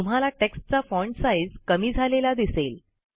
तुम्हाला टेक्स्टचा font size कमी झालेला दिसेल